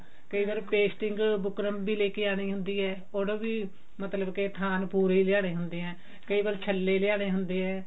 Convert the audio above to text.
ਕਈ ਵਾਰ pasting buckram ਵੀ ਲੈਕੇ ਆਉਣੀ ਹੁੰਦੀ ਹੈ ਉਹਦਾ ਵੀ ਮਤਲਬ ਕੀ ਥਾਨ ਪੂਰੇ ਹੀ ਲਿਆਉਣੇ ਹੁੰਦੇ ਆ ਕਈ ਵਾਰ ਛੱਲੇ ਲਿਆਉਣੇ ਹੁੰਦੇ ਆ